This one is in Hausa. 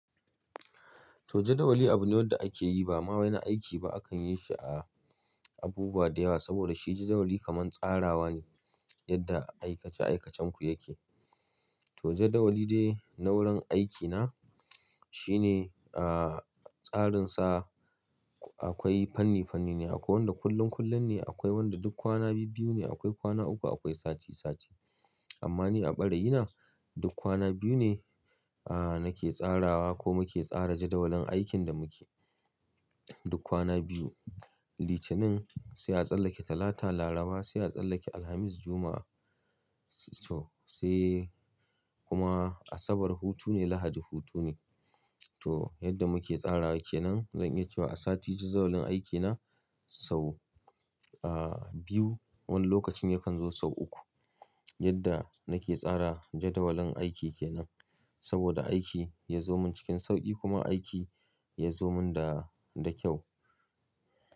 To jadawali abu ne da ake yi ba ma wai na aiki ba a kan yi shi a abubuwa da yawa saboda shi jadawali kamar tsarawa ne yadda aikace-aikacenku yake. To jadawali dai na wurin aikina shi ne, ah, tsarinsa akwai fanni-fanni ne, akwai wanda kullun-kullun ne, akwai wanda duk kwana biyu-biyu ne, akwai kwana uku, akwai sati sati. Amma ni a ɓarayina duk kwana biyu ne, ah, nake tsarawa ko muke tsara jadawalin aikin da muke. Duk kwana biyu, Litinin sai a tsallake Talata, Laraba sai a tsallake Alhamis, Juma'a sai kuma Asabar hutu ne, Lahadi hutu ne. To yadda muke tsarawa kenan zan iya cewa a sati jadawalin aikina sau, ah, biyu wani lokacin ya kan zo sau uku. Yadda nake tsara jadawalin aiki kenan saboda aiki ya zo min cikin sauƙi kuma aiki ya zo min da, da kyau.